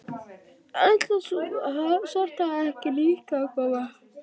Ætlar sú svarthærða ekki líka að koma?